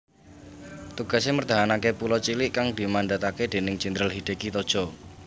Tugase mertahanake pulo cilik kang dimandhatake déning Jenderal Hideki Tojo